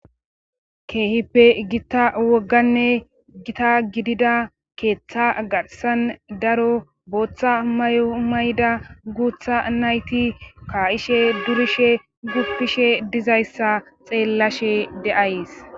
Keehippe gita wogganne gita gidida keeththa garsan daro booththa may'o mayda guutha nayti ka'ishe durishe guppishe dizayssa xeellashe deays.